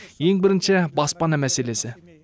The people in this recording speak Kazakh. ең бірінші баспана мәселесі